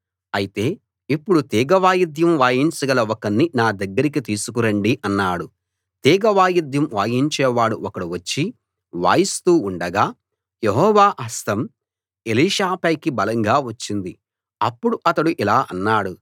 అయితే ఇప్పుడు తీగ వాయిద్యం వాయించగల ఒకణ్ణి నా దగ్గరికి తీసుకురండి అన్నాడు తీగ వాయిద్యం వాయించేవాడు ఒకడు వచ్చి వాయిస్తూ ఉండగా యెహోవా హస్తం ఎలీషా పైకి బలంగా వచ్చింది అప్పుడు అతడు ఇలా అన్నాడు